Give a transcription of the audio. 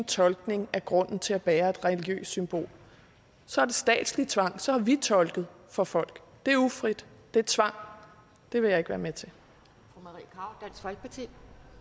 tolkning af grunden til at bære et religiøst symbol så er det statslig tvang så har vi tolket for folk det er ufrit det er tvang og det vil jeg ikke være med til til